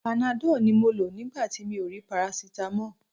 Panadọ́ọ̀ ni mo lò nígbà tí mi ò rí parasitamọ́ọ̀.